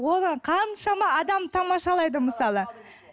оған қаншама адам тамашалайды мысалы